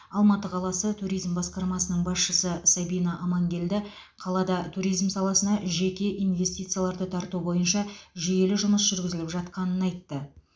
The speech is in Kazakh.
алматы қаласы туризм басқармасының басшысы сабина аманкелді қалада туризм саласына жеке инвестицияларды тарту бойынша жүйелі жұмыс жүргізіліп жатқанын айтты